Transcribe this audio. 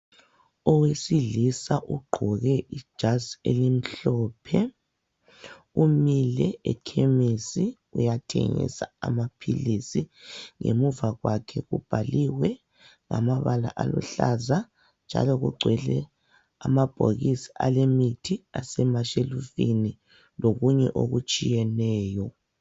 Owesilisa ogqoke ijazi elimhlophe umile ekhemisi uyathengisa amaphilisi. Ngemuva kwakhe kubhaliwe ngamabala aluhlaza. Njalo kugcwele amabhokisi alemithi asemashelufini lokunye okutshiyeneyo.